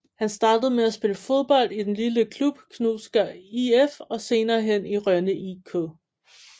Han startede med at spille fodbold i den lille klub Knudsker IF og senerehen i Rønne IK